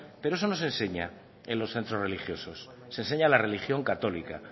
pero eso no se enseña en los centros religiosos se enseña la religión católica